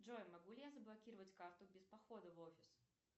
джой могу ли я заблокировать карту без похода в офис